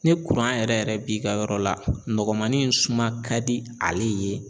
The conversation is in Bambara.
Ni yɛrɛ yɛrɛ b'i ka yɔrɔ la nɔgɔmani in suma ka di ale ye